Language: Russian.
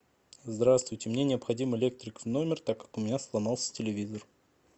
здравствуйте мне необходим электрик в номер так как у меня сломался телевизор